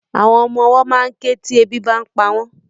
Àwọn ọmọwọ́ ma ń ké tí ebi bá ń pa wọ́n.